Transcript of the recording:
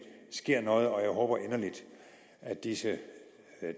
sker noget og jeg håber inderligt at disse